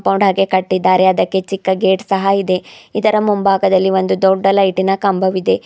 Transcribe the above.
ಮೋಡಾಗೆ ಕಟ್ಟಿದಾರೆ ಅದಕ್ಕೆ ಚಿಕ್ಕ ಗೇಟ್ ಸಹ ಇದೆ ಇದರ ಮುಂಭಾಗದಲ್ಲಿ ಒಂದು ದೊಡ್ಡ ಲೈಟಿನ ಕಂಬವಿದೆ.